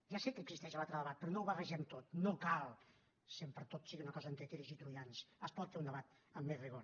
ja sé que existeix l’altre debat però no ho barregem tot no cal que sempre tot sigui una cosa entre tiris i troians es pot fer un debat amb més rigor